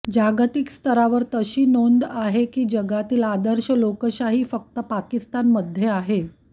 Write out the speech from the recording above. जागतिक स्तरावर तशी नोंद आहे की जगातील आदर्श लोकशाही फक्त पाकिस्तान मध्ये आहे